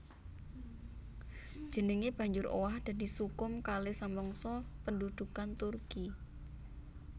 Jenengé banjur owah dadi Sukhum Kale samangsa pendhudhukan Turki